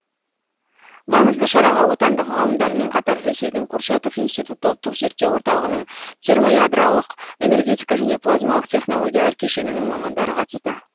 маңызды шараға отандық ғалымдармен қатар ресейдің курчатов институты ұлттық зерттеу орталығының термоядролық энергетика және плазмалық технологиялар кешенінің мамандары қатысты